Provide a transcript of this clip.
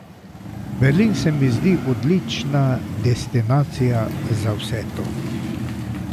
Berlin se mi zdi odlična destinacija za vse to.